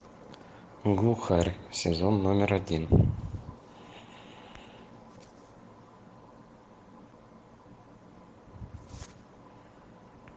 глухарь сезон номер один